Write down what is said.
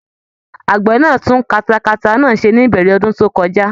Àgbẹ náà tún katata náà ṣe ní ìbẹ̀rẹ̀ ọdún tó kọjá